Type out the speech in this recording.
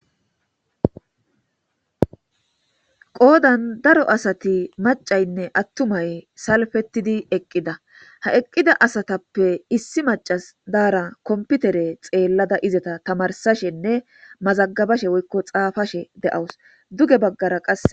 qoodan daro asati macaynne attumay salfetidi eqqida ha eqqida asatappe issi macas daara kompitere xeellada izeta tamarsashenne mazagabashe woykko xaafashe de7awus duge baggara qasse